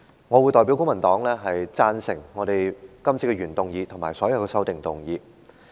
我會代表公民黨贊成原議案和所有修正案。